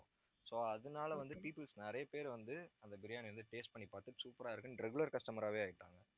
so அதனால வந்து, peoples நிறைய பேர் வந்து, அந்த biryani யை வந்து, taste பண்ணி பார்த்து super ஆ இருக்குன்னு regular customer ஆவே ஆயிட்டாங்க